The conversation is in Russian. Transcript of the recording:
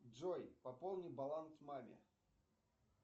джой пополни баланс маме